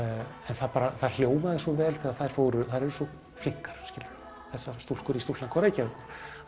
það bara hljómaði svo vel þær eru svo flinkar skiluru þessar stúlkur í stúlknakór Reykjavíkur